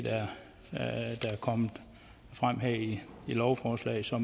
kommet frem her i lovforslaget så